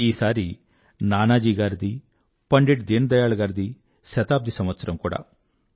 ఈసారి నానాజీ గారిదీ పండిట్ దీన్ దయాళ్ గారిదీ శతాబ్ది సంవత్సరం కూడా